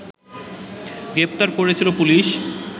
গ্রেফতার করেছিল পুলিশ